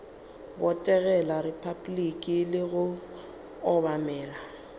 botegela repabliki le go obamela